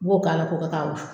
I b'o k'a la ko kɛ ka wusu